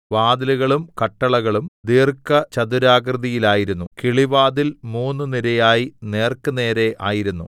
വാതിലുകളും കട്ടളകളും ദീർഘചതുരാകൃതിയിലായിരുന്നു കിളിവാതിൽ മൂന്ന് നിരയായി നേർക്കുനേരെ ആയിരുന്നു